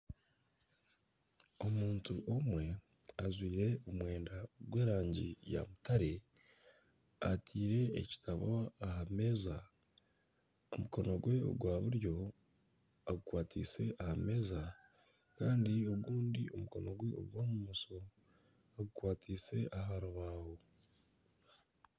Omuntu omwe ajwaire omwenda gw'erangi ya mutare etaire ekitabo aha meeza omukono gwe ogwa buryo agukwatise aha meeza kandi ogundi omukono gwe ogwa bumosho agukwatise aha rubaho.